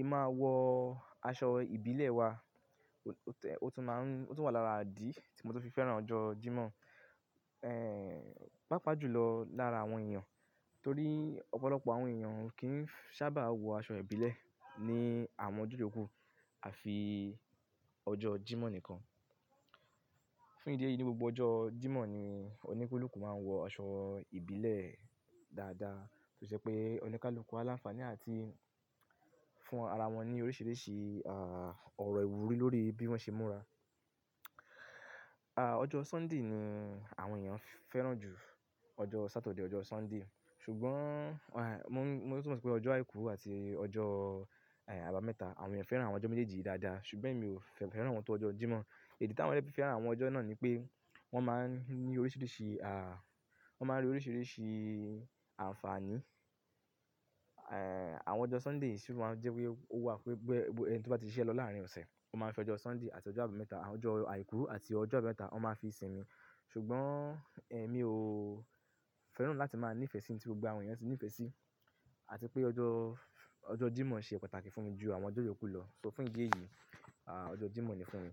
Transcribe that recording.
Ì máa wọ aṣọ ìbílẹ̀ wa, ó tún máa ń-- ó tún wà lára idí tí mo tun fi fẹ́ràn ọjọ́ Jímọ̀. Eh pàápàá jù lọ lára àwọn èèyàn. Torí ọ̀pọ̀lọpọ̀ àwọn èèyàn o kìn sábà wọ aṣọ ìbílẹ̀ ní àwọn ọjọ́ yòókù àfi ọjọ́ Jímọ̀ nìkan. Fún ìdí èyí ní gbogbo ọjọ́ Jímọ̀ ni oníkálukú máa ń wọ aṣọ ìbílẹ̀ dáadáa. Tó ṣe pé oníkálukú alánfààní àti fún ara wọn ní oríṣìíríṣìí ah ọ̀rọ̀ ìwúrí lórí bí wọ́n ṣe múra. Ah ọjọ́ Sunday ni àwọn èèyàn fẹ́ràn jù. Ọjọ́ Saturday, ọjọ́ Sunday. Ṣùgbọ́n mo, mo tún mọ̀ pé ọjọ́ Àìkú àti ọjọ́ eh Àbámẹ́ta àwọn èèyàn fẹ́ràn àwọn ọjọ́ méjèèjì dáadáa ṣùgbọ́n èmi ò fẹ́ràn wọn tó ọjọ́ Jímọ̀. Idi tí àwọn eyan fi fẹ́ràn àwọn ọjọ́ náà ni pé wọ́n máa ń ní oríṣìíríṣìí ah wọ́n máa ń rí oríṣìíríṣìí àǹfààní. Eh àwọn ọjọ́ Sunday sì máa ń jẹ́ wípé ó wà wípé gbogbo ẹni tó bá ti ṣiṣẹ́ lọ láàárín ọ̀sẹ̀ ó máa ń fẹ́ ọjọ́ Sunday àti ọjọ́ Àbámẹ́ta, àwọn ọjọ́ Àìkú àti ọjọ́ Àbámẹ́ta wọ́n máa fi sinmi. Ṣùgbọ́n eh mi ò fẹ́ràn láti máa ní ìfẹ́ sí ní tí gbogbo àwọn èèyàn ti ní ìfẹ́ sí àti pé ọjọ́, ọjọ́ Jímọ̀ ṣe pàtàkì fún mi jù àwọn ọjọ́ yòókù lọ. So fún ìdí èyí, ah ọjọ́ Jímọ̀ ni fún mi.